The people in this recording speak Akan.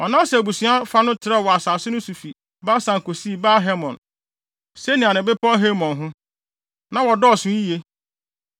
Manase abusua fa no trɛw wɔ asase no so fi Basan kosii Baal-Hermon, Senir ne bepɔw Hermon ho. Na wɔdɔɔso yiye.